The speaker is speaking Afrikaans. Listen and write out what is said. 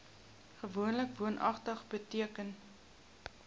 gewoonlik woonagtig beteken